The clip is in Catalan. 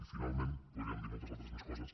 i finalment podríem dir moltes altres més coses